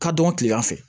Ka dɔn kilegan fɛ